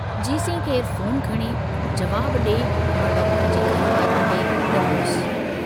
जेसीं केरु फोन खणे, जवाबु डिए मां डाक्टर जे घर वारनि ते डुमरियुसि थे।